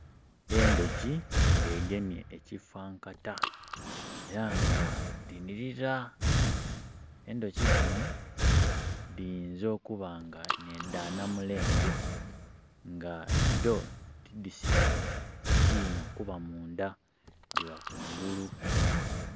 Endhoki nga dhegemye ekifankata era nga dhinilira. Endhoki dhino dhiyinza okuba nga ne dha namulenge nga dho tidhisima kina kuba munda dhiba ku ngulu.